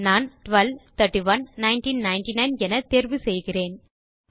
நான் 12 31 1999 என் தேர்வு செய்கிறேன்